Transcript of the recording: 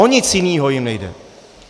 O nic jiného jim nejde.